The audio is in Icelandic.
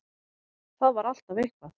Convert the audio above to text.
Það var alltaf eitthvað.